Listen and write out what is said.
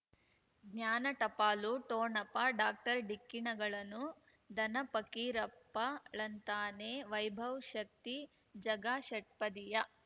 ಜ್ಞಾನ ಟಪಾಲು ಠೋಣಪ ಡಾಕ್ಟರ್ ಢಿಕ್ಕಿ ಣಗಳನು ಧನ ಫಕೀರಪ್ಪ ಳಂತಾನೆ ವೈಭವ್ ಶಕ್ತಿ ಝಗಾ ಷಟ್ಪದಿಯ